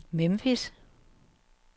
Memphis